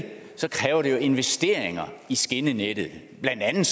investeringer i skinnenettet blandt andet